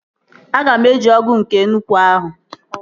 Aga m eji ọgụ nke nnukwu ahụ